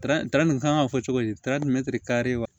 nin kan ka fɔ cogo di wa